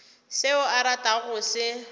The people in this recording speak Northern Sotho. seo o ratago go se